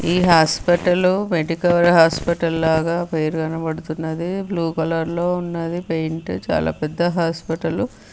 ఈ hospital Medicover hospital లాగా పేరు కనబడుతున్నది. బ్లూ కలర్ లో ఉన్నది పెయింట్ చాలా పెద్ద హాస్పిటల్